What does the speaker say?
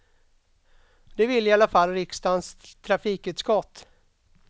Det vill i varje fall riksdagens trafikutskott.